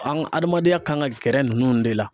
An ka adamadenya kan ka gɛrɛ nunnu de la.